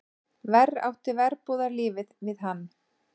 Verr átti verbúðarlífið við hann.